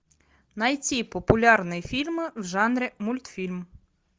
найти популярные фильмы в жанре мультфильм